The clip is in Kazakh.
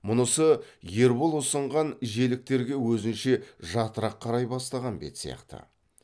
мұнысы ербол ұсынған желіктерге өзінше жатырақ қарай бастаған бет сияқты